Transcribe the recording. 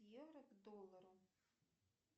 евро к доллару